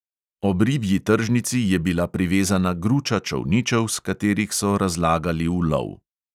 Ob ribji tržnici je bila privezana gruča čolničev, s katerih so razlagali ulov.